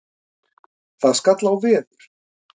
Það skall á veður.